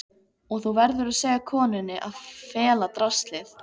Og þú verður að segja konunni að fela draslið.